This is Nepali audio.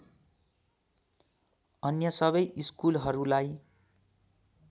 अन्य सबै स्कुलहरूलाई